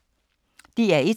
DR1